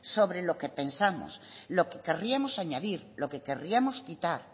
sobre lo que pensamos lo que querríamos añadir lo que querríamos quitar